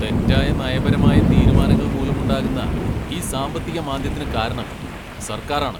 തെറ്റായ നയപരമായ തീരുമാനങ്ങൾ മൂലമുണ്ടാകുന്ന ഈ സാമ്പത്തിക മാന്ദ്യത്തിനു കാരണം സർക്കാരാണ്.